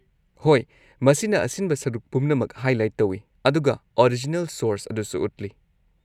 ꯍꯣꯏ, ꯃꯁꯤꯅ ꯑꯁꯤꯟꯕ ꯁꯔꯨꯛ ꯄꯨꯝꯅꯃꯛ ꯍꯥꯏꯂꯥꯏꯠ ꯇꯧꯏ ꯑꯗꯨꯒ ꯑꯣꯔꯤꯖꯤꯅꯦꯜ ꯁꯣꯔꯁ ꯑꯗꯨꯁꯨ ꯎꯠꯂꯤ꯫